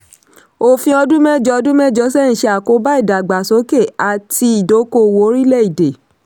òfin ọdún mẹ́jọ ọdún mẹ́jọ sẹ́yìn ṣe àkóbá ìdàgbàsókè àti ìdókòòwò orílẹ̀-èdè.